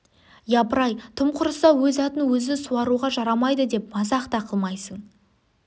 япыр-ай тым құрыса өз атын өзі суаруға жарамайды деп мазақ та қылмайсың